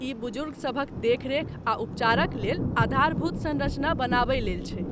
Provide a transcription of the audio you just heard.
ई बुजुर्ग सभक देखरेख आ उपचारक लेल आधारभूत सँरचना बनाबय लेल छै।